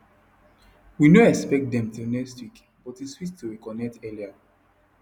we no expect dem till next week but e sweet to reconnect earlier